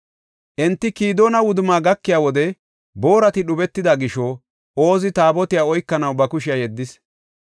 Enti Kidoona wudumma gakiya wode boorati dhubetida gisho Oozi Taabotiya oykanaw ba kushiya yeddis.